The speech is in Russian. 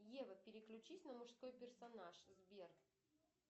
ева переключись на мужской персонаж сбер